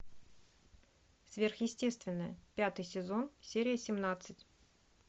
сверхъестественное пятый сезон серия семнадцать